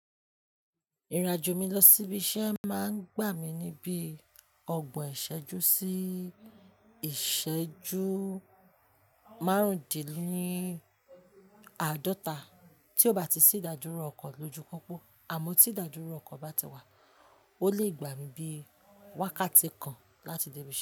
Ìrìn-àjò mi lọ sí ibi iṣẹ́ máa ń gbà mí ní bíi ọgbọ̀n ìṣẹ́jú sí ìṣẹ́jú márùndínláàdọ́ta tí ò bá ti sí ìdádúró ọkọ̀ lójú pópó, àmọ́ tí ìdádúró ọkọ̀ bá ti wà ó lè gbà mí níbi wákàtí kan láti dé ibi iṣẹ́.